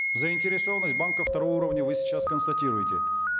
заинтересованность банков второго уровня вы сейчас констатируете